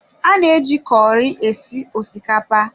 A na-eji kọri esi osikapa